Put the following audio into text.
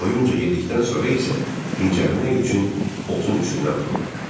Doyunca yedikdən sonra isə dincəlmək üçün otun üstünə uzandıq.